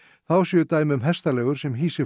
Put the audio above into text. þá séu dæmi um hestaleigur sem hýsi